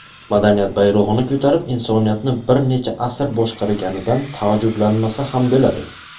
madaniyat bayrog‘ini ko‘tarib insoniyatni bir necha asr boshqarganidan taajjublanmasa ham bo‘ladi.